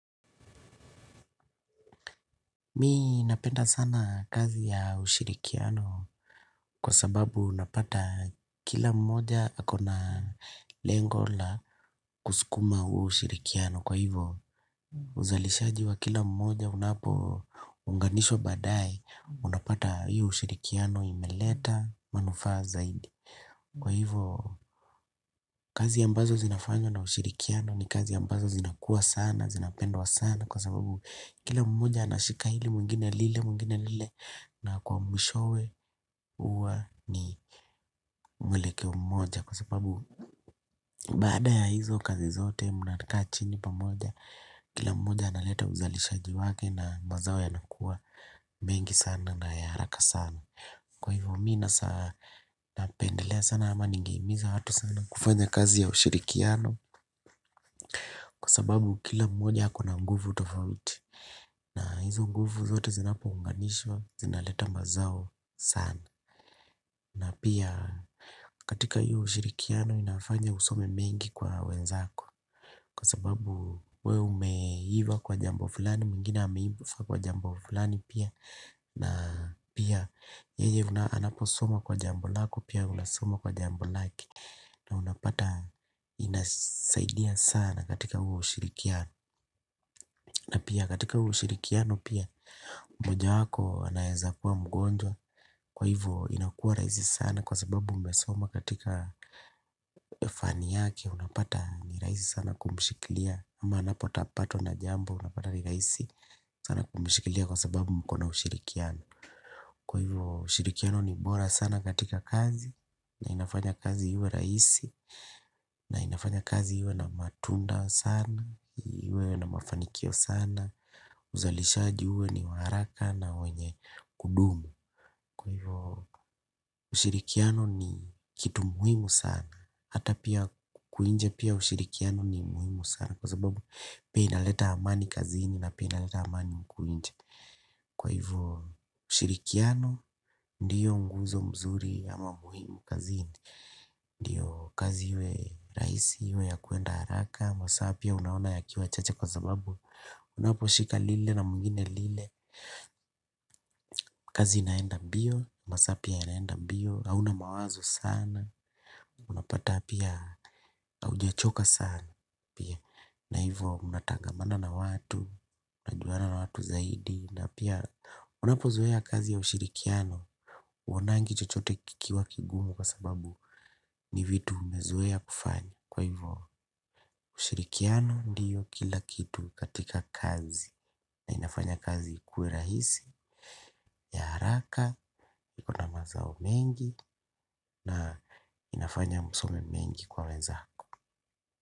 Mimi napenda sana kazi ya ushirikiano kwa sababu unapata kila mmoja akona lengo la kusukuma huu ushirikiano kwa hivyo uzalishaji wa kila mmoja unapo unganishwa baadaye unapata hiyo ushirikiano imeleta manufaa zaidi. Kwa hivyo kazi ambazo zinafanywa na ushirikiano ni kazi ambazo zinakuwa sana, zinapendwa sana. Kwa sababu kila mmoja anashika hili mwingine lile mwingine lile na kwa mwishowe huwa ni mwelekeo mmoja. Kwa sababu baada ya hizo kazi zote mnakaa chini pamoja, kila mmoja analeta uzalishaji wake na mazao yanakuwa mengi sana na ya haraka sana. Kwa hivyo miina saa napendelea sana ama ningehimiza watu sana kufanya kazi ya ushirikiano. Kwa sababu kila mmoja akona nguvu tofauti. Na hizo nguvu zote zinapounganishwa zinaleta mazao sana. Na pia katika hiyo ushirikiano inafanya usome mengi kwa wenzako. Kwa sababu wewe umeiva kwa jambo fulani mwingine ameiva kwa jambo fulani pia. Na pia yeye unaposoma kwa jambo lako pia unasoma kwa jambo lake. Na unapata inasaidia sana katika huo ushirikiano. Na pia katika huo ushirikiano pia. Moja wako anawezakuwa mgonjwa. Kwa hivyo inakua rahisi sana. Kwa sababu mmesoma katika fani yake. Unapata ni rahisi sana kumshikilia. Ama anapota patwo na jambo. Unapata ni raisi sana kumshikilia. Kwa sababu mkona ushirikiano. Kwa hivyo ushirikiano ni bora sana katika kazi, na inafanya kazi iwe rahisi, na inafanya kazi iwe na matunda sana, iwe na mafanikio sana, uzalishaji uwe ni wa haraka na wenye kudumu. Kwa hivyo ushirikiano ni kitu muhimu sana, hata pia huku nje pia ushirikiano ni muhimu sana kwa sababu pia inaleta amani kazini na pia inaleta amani huku nje. Kwa hivyo ushirikiano ndiyo nguzo mzuri ama muhimu kazi ndiyo kazi iwe rahisi iwe ya kuenda haraka. Masaa pia unaona yakiwa chacha kwa sababu unaposhika lile na mwingine lile. Kazi inaenda mbio, masaa pia yanaenda mbio, hauna mawazo sana. Unapata pia haujachoka sana. Na hivyo mnatangamana na watu, mnajuana na watu zaidi na pia unapozea kazi ya ushirikiano huonangi chochote kikiwa kigumu kwa sababu ni vitu umezoea kufanya kwa hivyo ushirikiano ndiyo kila kitu katika kazi na inafanya kazi ikue rahisi ya haraka yuko na mazao mengi na inafanya msome mengi kwa wenzako.